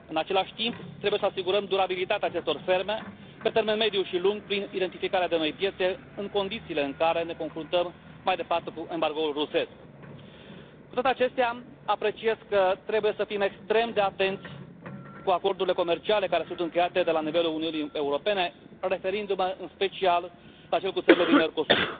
În același timp, trebuie să asigurăm durabilitatea acestor ferme pe termen mediu și lung, prin identificarea de noi piețe în condițiile în care ne confruntăm mai departe cu embargoul rusesc. Cu toate acestea, apreciez că trebuie să fim extrem de atenți cu acordurile comerciale care sunt încheiate la nivelul Uniunii Europene, referindu mă, în special, la cel cu țările din Mercosur.